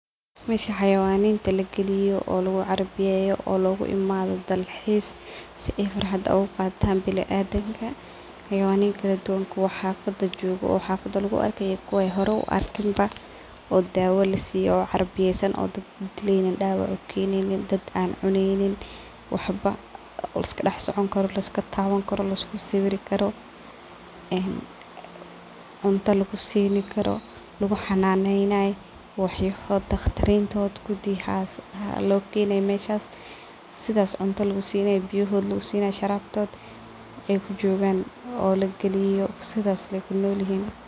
Mesha xayawaninta lagaliyo oo lagucaybiyeyo loguimdho si ay farxad uguqatan biniadamka, kuwa xafada laguarkayo iyo kuwa laarkin ba , oo dawo lasiye , sifican logataxadaro , cunto lasin karo liskusawir karo ,lagubashalayo , sidas ay kunoyihin. meshs sidas cunto lugusinay biya lagusinay sharabkod lagaliyo sidas ay kunolyihin marka meshas waxaa kajiraah farxad marka xayawanada ladawanayo biya lagusinayosharabkod lagaliyo sidas ay kunolyihin .